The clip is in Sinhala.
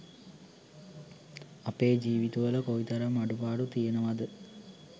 අපේ ජීවිත වල කොයි තරම් අඩුපාඩු තියෙනවද